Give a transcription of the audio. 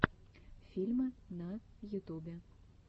фильмы на ютубе